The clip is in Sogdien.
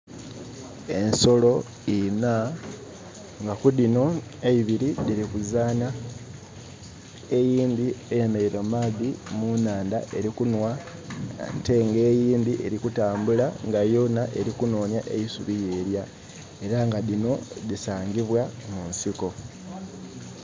Ensolo inha nga ku dhinho eibiri diri kuzaanha, eyindhi eyemereire mu maadhi mu nhandha eri kunwa ate nga eyindhi eri kutambula nga yonha eri kunhonya eisubi yelya, era nga dhinho dhisangibwa mu nsiko.